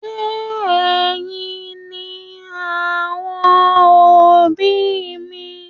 Ṣe ẹyìn ni àwọn òbí mi?